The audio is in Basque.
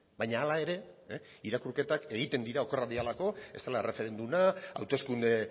baina hala ere irakurketak egiten dira okerrak direlako ez dela erreferenduma hauteskunde